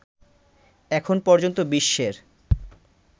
এখন পর্যন্ত বিশ্বের